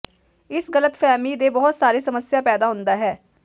ਇਸ ਗ਼ਲਤਫ਼ਹਿਮੀ ਦੇ ਬਹੁਤ ਸਾਰੇ ਸਮੱਸਿਆ ਪੈਦਾ ਹੁੰਦਾ ਹੈ